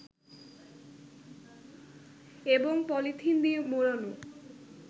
এবং পলিথিন দিয়ে মোড়ানো